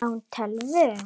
Á hún tölvu?